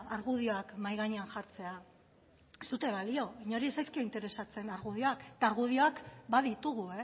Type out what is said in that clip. argudioak mahai gainean jartzea ez dute balio inori ez zaizkio interesatzen argudioak eta argudioak baditugu